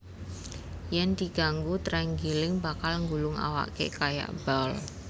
Yèn diganggu trenggiling bakal nggulung awaké kaya bal